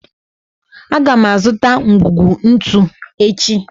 A ga m azụta ngwugwu ntu echi